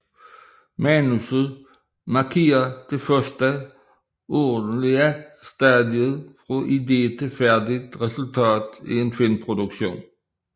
Manuset markerer det første ordentlige stadie fra idé til færdig resultat i en filmproduktion